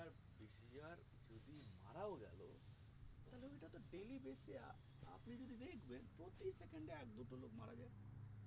যদি মারাও গেলো তাহলে ওটা তো daily base এ আ আপনি যদি দেখবেন প্রতি second এ এক দুটো লোক মারা যাচ্ছে